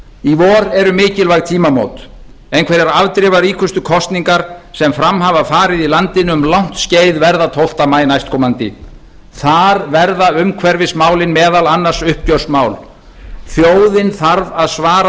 í vor eru mikilvæg tímamót einhverjar afdrifaríkustu kosningar sem fram hafa farið í landinu um langt skeið verða tólfta maí næstkomandi þar verða umhverfismálin meðal annars uppgjörsmál þjóðin þarf að svara